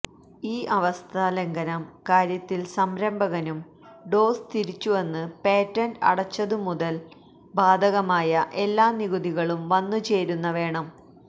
ഈ അവസ്ഥ ലംഘനം കാര്യത്തിൽ സംരംഭകനും ഡോസ് തിരിച്ചുവന്ന് പേറ്റന്റ് അടച്ചതു മുതൽ ബാധകമായ എല്ലാ നികുതികളും വന്നുചേരുന്ന വേണം